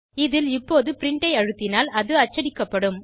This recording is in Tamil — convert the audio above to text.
இதில் இப்போது பிரின்ட் ஐ அழுத்தினால் அது அச்சடிக்கப்படும்